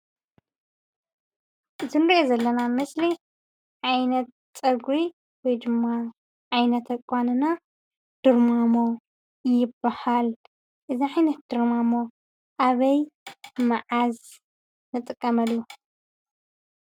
እቲ ንሪኦ ዘለና ምስሊ ዓይነት ፀጉሪ ወይ ድማ ዓይነት ኣቋንና ድርማሞ ይባሃል፡፡ እዚ ዓይነት ድርማሞ ኣበይ; መዓዝ ንጥቀመሉ?